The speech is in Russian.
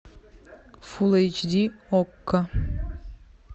фул эйч ди окко